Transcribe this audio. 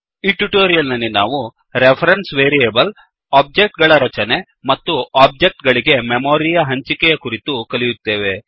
ಈ ಟ್ಯುಟೋರಿಯಲ್ ನಲ್ಲಿ ನಾವು ರೆಫರೆನ್ಸ್ ವೇರಿಯೇಬಲ್ ಒಬ್ಜೆಕ್ಟ್ ಗಳ ರಚನೆ ಮತ್ತು ಒಬ್ಜೆಕ್ಟ್ ಗಳಿಗೆ ಮೆಮೋರಿಯ ಹಂಚಿಕೆಯ ಕುರಿತು ಕಲಿಯುತ್ತೇವೆ